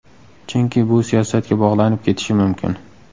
Chunki bu siyosatga bog‘lanib ketishi mumkin.